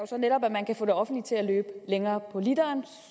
så netop at man kan få det offentlige til at løbe længere på literen